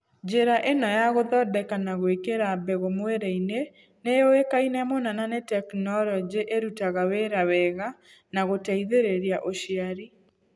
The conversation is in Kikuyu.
Njĩra ĩno ya gũthondeka na gwĩkĩra mbegũ mwĩrĩ-inĩ nĩ yũĩkaine mũno na nĩ tekinoronjĩ ĩrutaga wĩra wega wa gũteithĩrĩria ũciari.